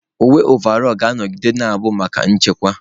Uwe ọvaọlụ ga-anọgide na-abụ maka nchekwa